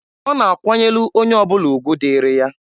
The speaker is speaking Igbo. Ọ na-akwanyelụ onye ọbụla ugwu dịịrị ya.